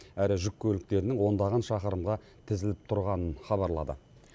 әрі жүк көліктерінің ондаған шақырымға тізіліп тұрғанын хабарлады